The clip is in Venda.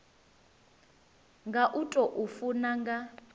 nga u tou funa nga